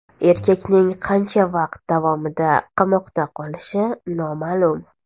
Erkakning qancha vaqt davomida qamoqda qolishi noma’lum.